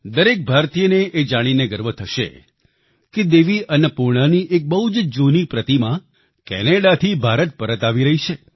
દરેક ભારતીયને એ જાણીને ગર્વ થશે કે દેવી અન્નપૂર્ણાની એક બહુ જ જૂની પ્રતિમા કેનેડાથી ભારત પરત આવી રહી છે